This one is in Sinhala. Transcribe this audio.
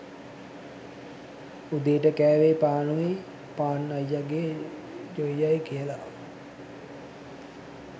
උදේට කෑවේ පානුයි පාන් අයියගේ ජොයියයි කියලා